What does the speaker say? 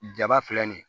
Jaba filɛ nin ye